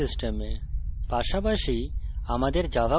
যে কোনো operating system